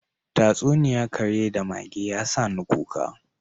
Tatsuniya kare da mage, ya sani kuka: